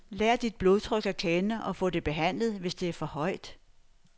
Lær dit blodtryk at kende og få det behandlet, hvis det er for højt.